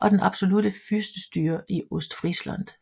og den absolutte fyrstestyre i Ostfriesland